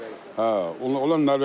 Hə, onlar Norveçdən gəlir.